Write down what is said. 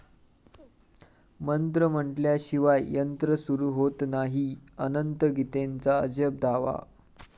मंत्र म्हटल्याशिवाय यंत्र सुरू होत नाही, अनंत गीतेंचा अजब दावा